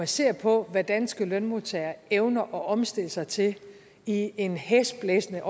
se på hvad danske lønmodtagere evner at omstille sig til i en hæsblæsende